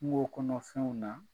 Kungo kɔnɔfɛnw na